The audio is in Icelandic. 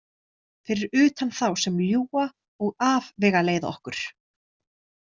Fyrir utan þá sem ljúga og afvegaleiða okkur.